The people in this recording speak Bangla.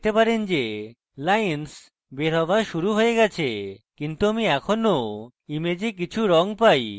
এখন আপনি দেখতে পারেন যে lines বের হওয়া শুরু হয়ে গেছে কিন্তু আমি এখনো image কিছু রঙ পাই